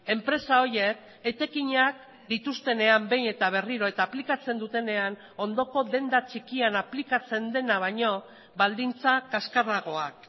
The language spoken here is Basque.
enpresa horiek etekinak dituztenean behin eta berriro eta aplikatzen dutenean ondoko denda txikian aplikatzen dena baino baldintza kaskarragoak